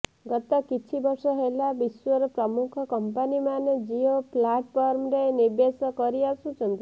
ଗତ କିଛି ବର୍ଷ ହେଲା ବିଶ୍ୱର ପ୍ରମୁଖ କମ୍ପାନିମାନେ ଜିଓ ପ୍ଲାଟଫର୍ମରେ ନିବେଶ କରି ଆସୁଛନ୍ତି